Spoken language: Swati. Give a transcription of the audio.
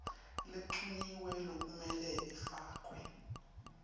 lencunyiwe lekumele ifakwe